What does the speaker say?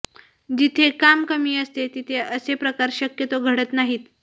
जिथे काम कमी असते तिथे असे प्रकार शक्यतो घडत नाहीत